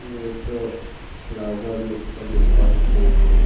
ये तो फ्लावर लोक का दुकान है।